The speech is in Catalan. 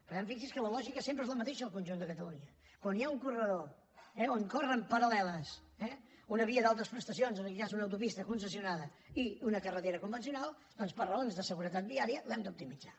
per tant fixi’s que la lògica sempre és la mateixa al conjunt de catalunya quan hi ha un corredor on corren paralleles una via d’altes prestacions en aquest cas una autopista concessionada i una carretera convencional doncs per raons de seguretat viària l’hem d’optimitzar